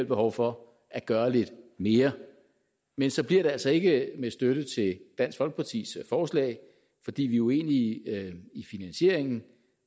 behov for at gøre lidt mere men så bliver det altså ikke med støtte til dansk folkepartis forslag fordi vi er uenige i finansieringen